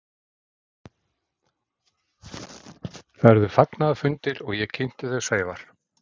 Það urðu fagnaðarfundir og ég kynnti þau Sævar.